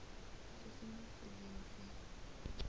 se se mo tseleng se